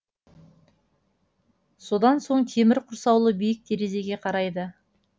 содан соң темір құрсаулы биік терезеге қарайды